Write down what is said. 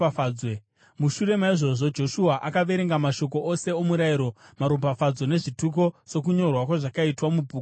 Mushure maizvozvo, Joshua akaverenga mashoko ose omurayiro, maropafadzo nezvituko sokunyorwa kwazvakaitwa muBhuku roMurayiro.